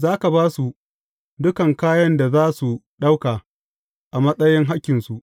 Za ka ba su dukan kayan da za su ɗauka a matsayin hakkinsu.